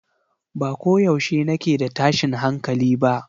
Ba ko yaushe nake da tashin hankali ba